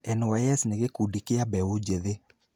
NYS nĩ gĩkundi kĩa mbeũ njĩthĩ.